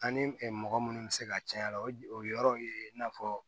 Ani mɔgɔ munnu bɛ se ka caya a la o yɔrɔw ye i n'a fɔ